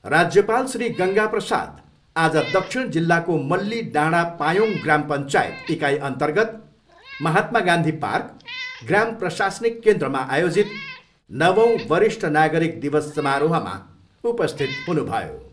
राज्यपाल श्री गङ्गाप्रसाद आज दक्षिण जिल्लाको मल्ली डाँडा पायोङ ग्राम पञ्चायत इकाइअन्तर्गत महात्मा गान्धी पार्क, ग्राम प्रशासनिक केन्द्रमा आयोजित नवौँ वरिष्ठ नागरिक दिवस समारोहमा उपस्थित हुनुभयो।